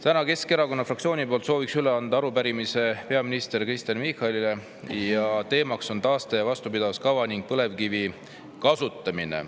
Täna soovin Keskerakonna fraktsiooni poolt üle anda arupärimise peaminister Kristen Michalile ning teema on taaste‑ ja vastupidavuskava ning põlevkivi kasutamine.